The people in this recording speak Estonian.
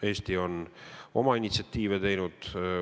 Eesti on initsiatiividega välja tulnud.